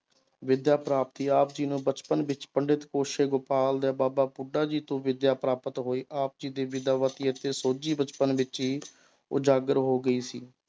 ਵਿਦਿਆ ਪ੍ਰਾਪਤੀ ਆਪ ਜੀ ਨੂੰ ਬਚਪਨ ਵਿੱਚ ਪੰਡਿਤ ਕੇਸ਼ਵ ਗੋਪਾਲ ਤੇ ਬਾਬਾ ਬੁੱਢਾ ਜੀ ਤੋਂ ਵਿਦਿਆ ਪ੍ਰਾਪਤ ਹੋਈ ਆਪ ਜੀ ਅਤੇ ਸੋਝੀ ਬਚਪਨ ਵਿੱਚ ਹੀ ਉਜਾਗਰ ਹੋ ਗਈ ਸੀ